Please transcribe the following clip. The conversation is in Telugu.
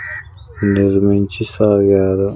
ఈరోజు నుంచి .